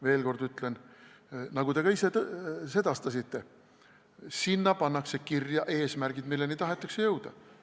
Veel kord ütlen ja te ka ise sedastasite, et sinna pannakse kirja eesmärgid, milleni tahetakse jõuda.